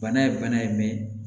Bana ye bana ye